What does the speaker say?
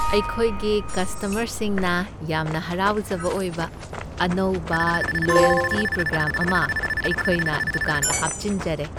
ꯑꯩꯈꯣꯏꯒꯤ ꯀꯁꯇꯃꯔꯁꯤꯡꯅ ꯌꯥꯝꯅ ꯍꯔꯥꯎꯖꯕ ꯑꯣꯏꯕ ꯑꯅꯧꯕ ꯂꯣꯏꯌꯜꯇꯤ ꯄ꯭ꯔꯣꯒ꯭ꯔꯥꯝ ꯑꯃ ꯑꯩꯈꯣꯏꯅ ꯗꯨꯀꯥꯟꯗ ꯍꯥꯞꯆꯤꯟꯖꯔꯦ ꯫